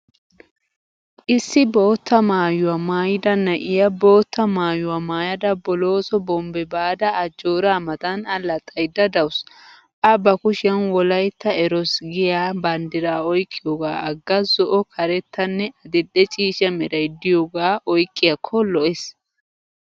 Issi bootta maayuwa maayida na'iya bootta maayuwa maayada bolooso bombbe baada ajjooraa matan allaxxayidda dawusu. A ba kushiyan wolaytta eroos giyaa banddiraa oyqqiyoogaa agga zo'o karettanne adil'e ciishsha meray de'iyogaa oyqqiyaakko lo'es.